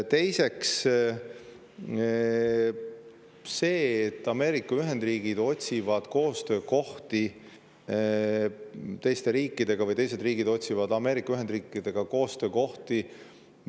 Teiseks, see, et Ameerika Ühendriigid otsivad koostöökohti teiste riikidega või teised riigid otsivad Ameerika Ühendriikidega koostöökohti.